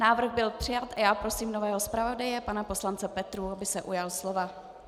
Návrh byl přijat a já prosím nového zpravodaje pana poslance Petrů, aby se ujal slova.